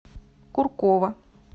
куркова